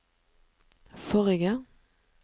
forrige